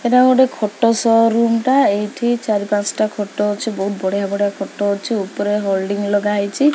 ଏଟା ଗୋଟେ ଖୋଟ ସୋରୁମ୍ ଟା ଏଇଠି ଚାରି ପାଞ୍ଚ ଟା ଖଟ ଅଛି ବହୁତ ବଢିଆ ବଢିଆ ଖଟ ଅଛି ଉପରେ ହୋଲ୍ଡିଂ ଲଗା ହେଇଚି।